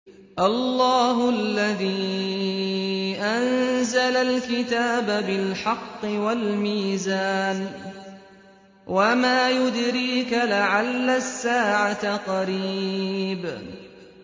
اللَّهُ الَّذِي أَنزَلَ الْكِتَابَ بِالْحَقِّ وَالْمِيزَانَ ۗ وَمَا يُدْرِيكَ لَعَلَّ السَّاعَةَ قَرِيبٌ